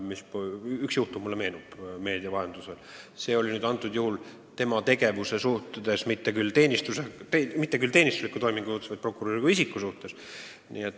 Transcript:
Mulle meenub üks meedias käsitletud juhtum, kus algatati menetlus mitte küll ühe prokuröri teenistusliku tegevuse suhtes, vaid tema kui isiku tegevuse suhtes.